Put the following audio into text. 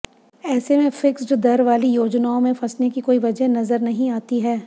ऐसे में फिक्स्ड दर वाली योजनाओं में फंसने की कोई वजह नजर नहीं आती है